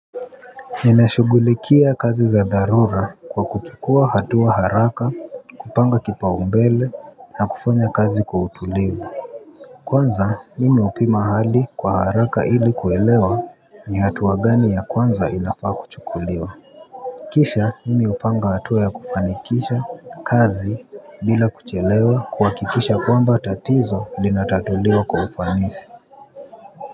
Ninashughulikia kazi za dharura kwa kuchukua hatua haraka kupanga kipaumbele na kufanya kazi kwa utulivu. Kwanza mimi hupima hali kwa haraka ili kuelewa ni hatua gani ya kwanza inafaa kuchukuliwa. Kisha mimi hupanga hatua ya kufanikisha kazi bila kuchelewa kuhakikisha kwamba tatizo linatatuliwa kwa ufanisi.